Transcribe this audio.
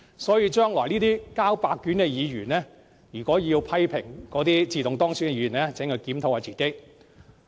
所以，這些交白卷的議員將來要批評自動當選的議員，請他們先檢討自己。